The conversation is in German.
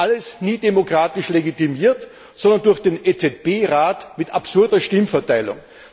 Alles nie demokratisch legitimiert, sondern durch den EZB Rat mit absurder Stimmverteilung.